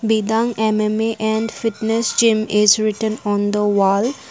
Bidang mma and fitness gym is written on the wall.